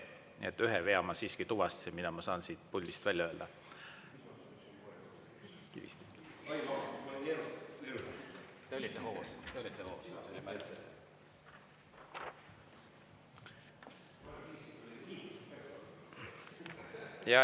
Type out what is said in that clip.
Nii et ühe vea ma siiski tuvastasin, mida ma saan siit puldist välja öelda.